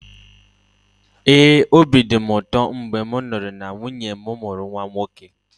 ee, obi dị m ụtọ mgbe m nụrụ na nwunye m mụrụ nwa nwoke